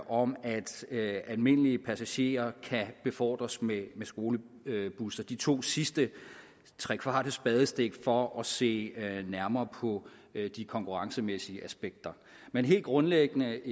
om at almindelige passagerer kan befordres med skolebusser de to sidste trekvarte spadestik for at se nærmere på de konkurrencemæssige aspekter men helt grundlæggende